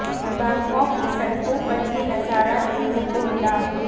Bangkok की सडक़ों पर ये नजारा देखने को मिला